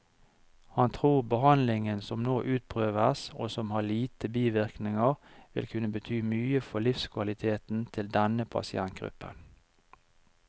Han tror behandlingen som nå utprøves, og som har lite bivirkninger, vil kunne bety mye for livskvaliteten til denne pasientgruppen.